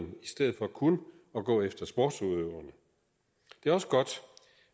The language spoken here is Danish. stedet for kun at gå efter sportsudøverne det er også godt